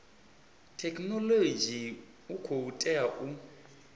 thekhinolodzhi u khou tea u